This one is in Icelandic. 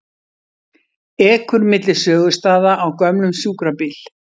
Ekur milli sögustaða á gömlum sjúkrabíl